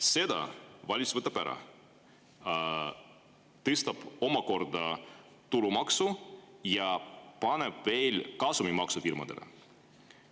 Selle võtab valitsus ära, ta tõstab omakorda tulumaksu ja paneb veel firmadele kasumimaksu peale.